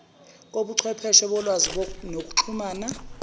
kobuchwepheshe bolwazi nokuxhumana